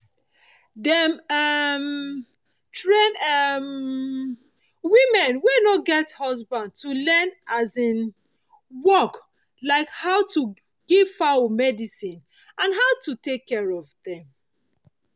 dem um train um women wey no get husband to learn farm um work like how to give fowl medicine and how to take care of dem